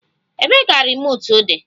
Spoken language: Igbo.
Ebee ka remootu di?